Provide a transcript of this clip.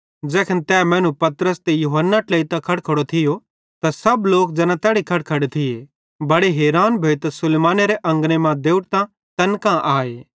ज़ैखन तै मैनू पतरस ते यूहन्ना ट्लेइतां खड़खड़ो थियो त सब लोक ज़ैना तैड़ी खड़खड़े थिये बड़े हैरान भोइतां सुलैमानी अंगने मां देवड़तां तैन कां आए